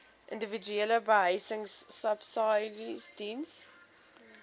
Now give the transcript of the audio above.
individuele behuisingsubsidies diens